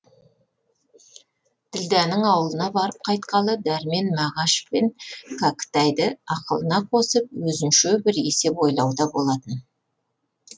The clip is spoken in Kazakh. ділдәнің ауылына барып қайтқалы дәрмен мағаш пен кәкітайды ақылына қосып өзінше бір есеп ойлауда болатын